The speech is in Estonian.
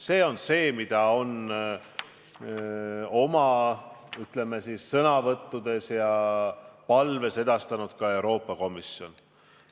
See on see, mida oma sõnavõttudes ja palves on edastanud ka Euroopa Komisjon.